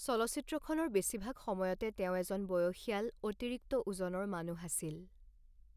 চলচ্চিত্ৰখনৰ বেছিভাগ সময়তে তেওঁ এজন বয়সীয়াল, অতিৰিক্ত ওজনৰ মানুহ আছিল।